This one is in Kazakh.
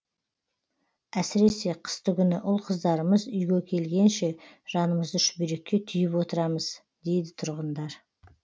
әсіресе қыстыгүні ұл қыздарымыз үйге келгенше жанымызды шүберекке түйіп отырамыз дейді тұрғындар